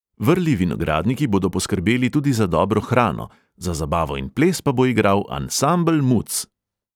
Vrli vinogradniki bodo poskrbeli tudi za dobro hrano, za zabavo in ples pa bo igral ansambel muc.